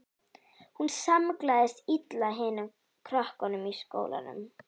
Hún samlagaðist illa hinum krökkunum í skólanum.